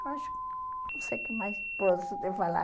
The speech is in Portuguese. Acho que não sei o que mais posso te falar.